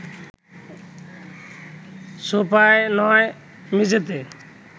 সোফায় নয়, মেঝেতে